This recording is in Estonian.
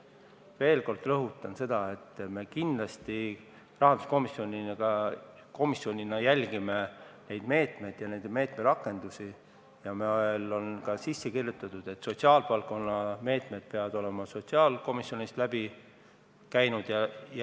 Ma veel kord rõhutan, et me kindlasti rahanduskomisjonis jälgime nende meetmete rakendamist ja see on ka sisse kirjutatud, et sotsiaalvaldkonna meetmed peavad olema sotsiaalkomisjonist läbi käinud.